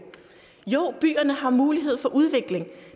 jo byerne har mulighed for udvikling